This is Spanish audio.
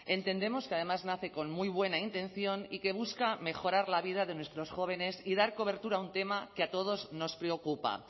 entendemos que además nace con muy buena intención y que busca mejorar la vida de nuestros jóvenes y dar cobertura a un tema que a todos nos preocupa